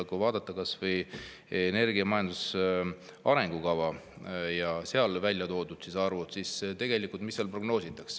Kui vaadata kas või energiamajanduse arengukava ja seal välja toodud arve, siis mida seal prognoositavat?